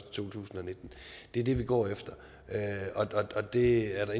to tusind og nitten det er det vi går efter og det er der